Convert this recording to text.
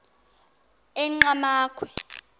enqgamakhwe